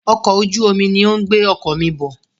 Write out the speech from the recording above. Ọkọ̀ ojú omi ní o ń gbé ọkọ̀ mí bọ̀.